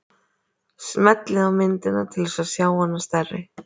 Smellið á myndina til þess að sjá hana stærri.